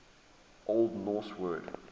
old norse word